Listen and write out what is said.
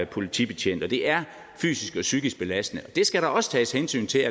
politibetjent og det er fysisk og psykisk belastende det skal der også tages hensyn til